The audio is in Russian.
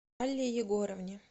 алле егоровне